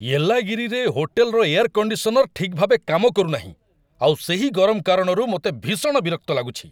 ୟେଲ୍ଲାଗିରିରେ ହୋଟେଲ୍‌ର air conditioner ଠିକ୍ ଭାବେ କାମ କରୁନାହିଁ, ଆଉ ସେହି ଗରମ କାରଣରୁ ମୋତେ ଭୀଷଣ ବିରକ୍ତ ଲାଗୁଛି।